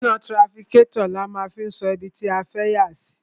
Iná trafikátọ̀ ni a máa fi ń sọ ibi tí a fẹ́ yà sí.